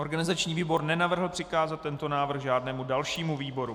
Organizační výbor nenavrhl přikázat tento návrh žádnému dalšímu výboru.